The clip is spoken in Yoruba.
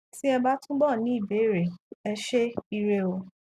tí ẹ bá túbọ ní ìbéèrè ẹ ṣé ire o